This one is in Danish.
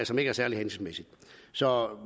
som ikke er særlig hensigtsmæssige så